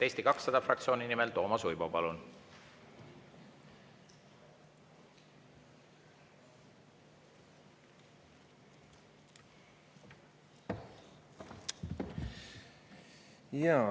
Eesti 200 fraktsiooni nimel Toomas Uibo, palun!